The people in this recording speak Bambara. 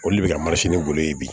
O le bɛ ka golo ye bi